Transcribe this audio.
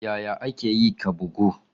Yaya aka yi ka bugu?